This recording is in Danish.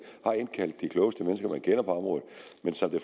kender på området men som det